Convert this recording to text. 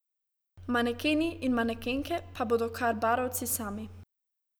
Manekeni in manekenke pa bodo kar barovci sami.